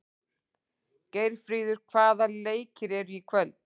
Geirfríður, hvaða leikir eru í kvöld?